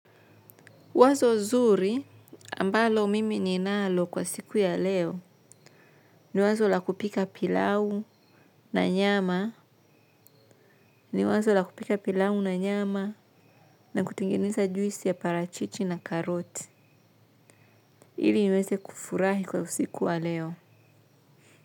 Wazo zuri ambalo mimi ninalo kwa siku ya leo ni wazo la kupika pilau wazo la kupika pilau na nyama na kutengeneza juisi ya parachichi na karoti ili niweze kufurahi kwa usiku wa leo.